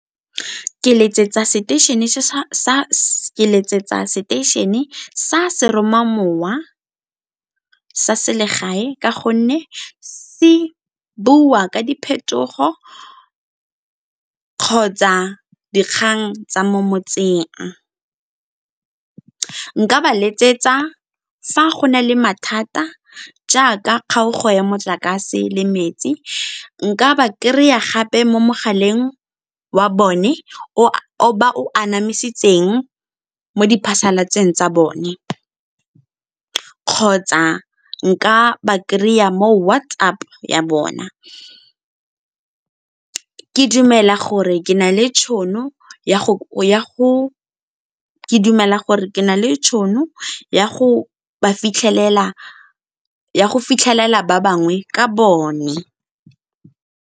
Ke letsetsa seteišene sa seromamowa sa selegae ka gonne se bua ka diphetogo kgotsa dikgang tsa mo motseng. Nka ba letsetsa fa go na le mathata jaaka kgaogo ya motlakase le metsi, nka ba kry-a gape mo mogaleng wa bone o ba o anamisitseng mo di phasalatseng tsa bone kgotsa nka ba kry-a mo WhatsApp ya bona. Ke dumela gore ke na le tšhono ya go fitlhelela ba bangwe ka bone.